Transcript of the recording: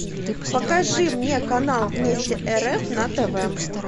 покажи мне канал вместе рф на тв